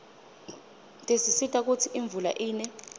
tisisita kutsi imvula ine